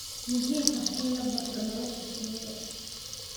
muhiim ah in la barto nolosha shinnida